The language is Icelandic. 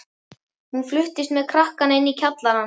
Hún fluttist með krakkana inn í kjallarann.